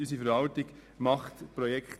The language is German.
Auch das braucht Zeit.